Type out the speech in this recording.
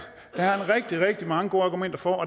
rigtig rigtig mange gode argumenter for